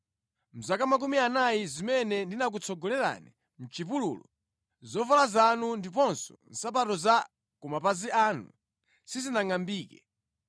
Mʼzaka makumi anayi zimene ndinakutsogolerani mʼchipululu, zovala zanu ndiponso nsapato za ku mapazi anu sizinangʼambike.